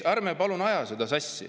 Ärme palun ajame sassi!